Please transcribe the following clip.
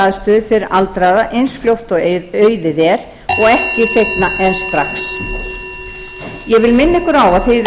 aðstöðu fyrir aldraða eins fljótt og auðið er og ekki seinna en strax ég vil minna ykkur á að